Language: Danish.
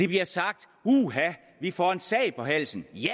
bliver sagt uha vi får en sag på halsen ja